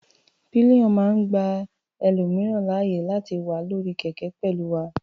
Pillion máa ń gba ẹlòmìíràn láàyè láti wà lórí kẹ̀kẹ́ pẹ̀lú wa.